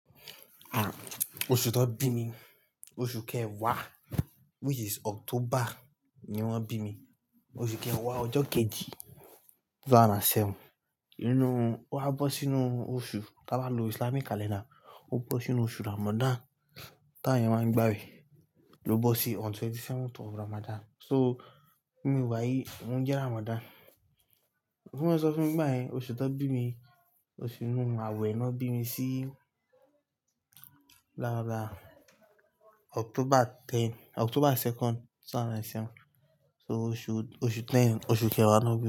Oṣù tó bí mi, oṣù kẹwàá which is October ni wọ́n bí mi. Oṣù kẹwàá ọjọ́ kejì ọdun ẹgbẹ̀rún méjì ó lé méje. Nínú, ó wá bọ́ sínú oṣù, tí a bá lo Islamic calendar, ó bọ́ sínú oṣù Ramadan. Táyàn máa ń gba wẹ̀, ló bọ́ sí on ọjọ́ kẹtàdínlọ́gbọ̀n ti Ramadan. So, mi wáyé, ó jẹ́ Ramadan. Ó bi máa sọ fún mi báyìí, oṣù tó bí mi, oṣù inú àwẹ̀ ni wọ́n bí mi sí lára October 10-- October ọjọ́ kejì, ẹgbẹ̀rún méjì ó lé méje. So oṣù, oṣù kẹwàá, oṣù kẹwàá ni wọ́n bí mi.